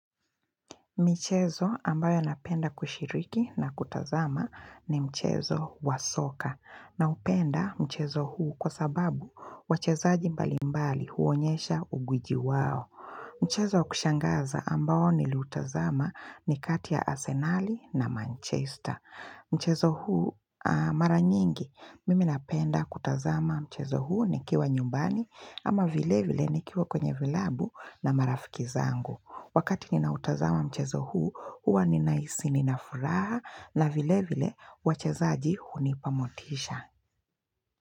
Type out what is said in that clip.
Michezo ambayo napenda kushiriki na kutazama ni mchezo wasoka. Na upenda mchezo huu kwa sababu wachezaji mbalimbali huonyesha ugwiji wao. Mchezo wakushangaza ambao niliutazama ni kati ya Asenali na Manchester. Mchezo huu maranyingi mimi napenda kutazama mchezo huu nikiwa nyumbani ama vile vile nikiwa kwenye vilabu na marafiki zangu. Wakati ninautazama mchezo huu, huwa ninahisi ninafuraha na vile vile wachezaji hunipa motisha.